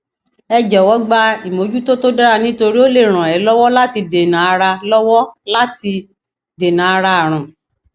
ẹ jọwọ gba ìmójútó tó dára nítorí ó lè ràn é lọwọ láti dènàárà lọwọ láti dènàárà àrùn